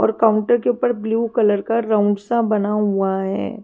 और काउंटर के ऊपर ब्लू कलर का राउंड सा बना हुआ है।